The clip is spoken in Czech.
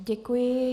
Děkuju.